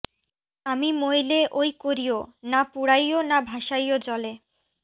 আমি মইলে ঐ করিও না পুড়াইও না ভাসাইও জলে